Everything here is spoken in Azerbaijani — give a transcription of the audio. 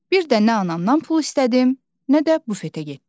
Bir də nə anamdan pul istədim, nə də bufetə getdim.